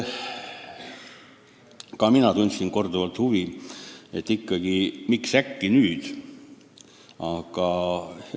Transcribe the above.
Ka mina tundsin korduvalt huvi, miks me ikkagi äkki nüüd ühineme.